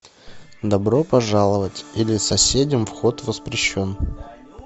добро пожаловать или соседям вход воспрещен